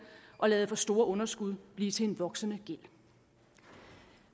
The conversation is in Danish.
og ladet for store underskud blive til en voksende gæld